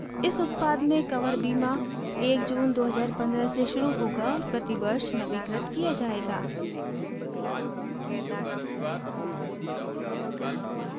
इस उत्पाद में कवर बीमा 1 जून 2015 से शुरू होगा और प्रतिवर्ष नवीकृत किया जायेगा